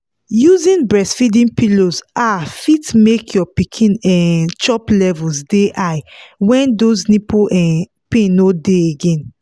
using breastfeeding pillows um fit make your pikin um chop levels dey high when those nipple um pain no dey again